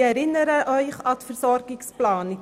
Ich erinnere Sie an die Versorgungsplanung: